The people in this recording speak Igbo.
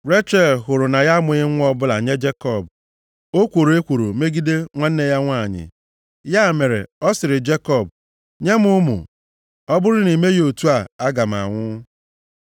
Rechel hụrụ na ya amụghị nwa ọbụla nye Jekọb, o kworo ekworo megide nwanne ya nwanyị. Ya mere, ọ sịrị Jekọb, “Nye m ụmụ. Ọ bụrụ na i meghị otu a, aga m anwụ.”